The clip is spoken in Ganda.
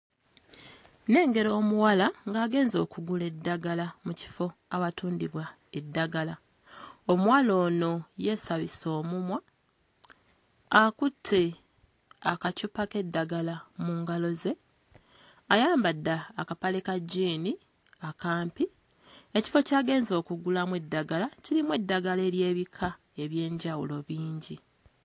Nnengera omuwala ng'agenze okugula eddagala mu kifo awatundibwa eddagala, omuwala ono yeesabise omumwa, akutte akacupa k'eddagala mu ngalo ze, ayambadde akapale ka jjiini akampi, ekifo ky'agenze okugulamu eddagala kirimu eddagala ery'ebika eby'enjawulo bingi.